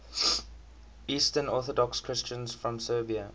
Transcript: eastern orthodox christians from serbia